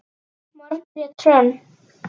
Margrét Hrönn.